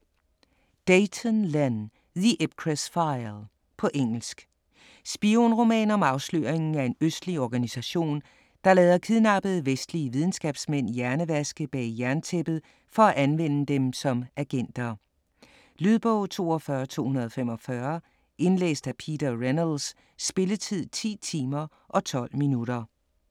Deighton, Len: The Ipcress file På engelsk. Spionroman om afsløringen af en østlig organisation, der lader kidnappede vestlige videnskabsmænd hjernevaske bag Jerntæppet for at anvende dem som agenter. Lydbog 42245 Indlæst af Peter Reynolds. Spilletid: 10 timer, 12 minutter.